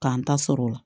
K'an ta sɔrɔ o la